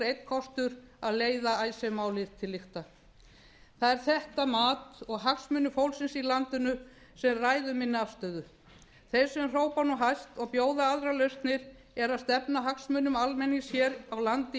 einn kostur að leiða icesave málið til lykta það er þetta mat og hagsmunir fólksins í landinu sem ráða afstöðu minni þeir sem hrópa nú hæst og bjóða aðrar lausnir stefna hagsmunum almennings hér á landi í